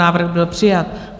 Návrh byl přijat.